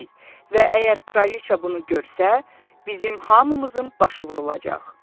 Və əgər kraliç bunu görsə, bizim hamımızın başı vurulacaq.